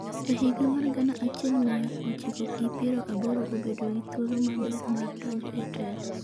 e higa mar gana achiel mia ochiko gi piero aboro obedo gi thuolo maber mar donjo e telo